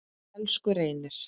Elsku Reynir.